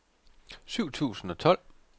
syv tusind og tolv